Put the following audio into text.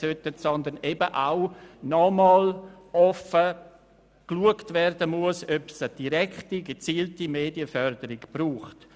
Es soll vielmehr nochmals offen angeschaut werden, ob es eine direkte, gezielte Medienförderung braucht.